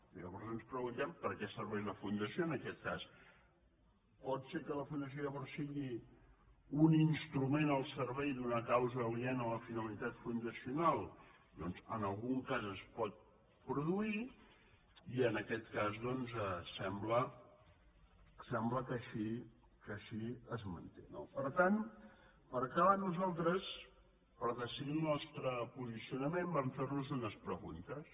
llavors ens preguntem per què serveix la fundació en aquest cas pot ser que la fundació llavors sigui un instrument al servei d’una causa aliena a la finalitat fundacional doncs en algun cas es pot produir i en aquest cas doncs sembla que així es manté no per tant per acabar nosaltres per decidir el nostre po·sicionament vam fer·nos unes preguntes